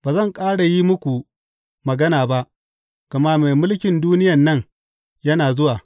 Ba zan ƙara yi muku magana ba, gama mai mulkin duniyan nan yana zuwa.